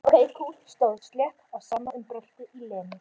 Stóð slétt á sama um bröltið í Lenu.